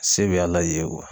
Se be Ala ye